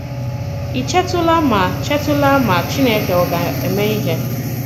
Ị̀ chètùlà ma chètùlà ma Chìnékè ọ̀ ga-eme ihe?